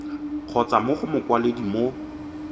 kgotsa mo go mokwaledi mo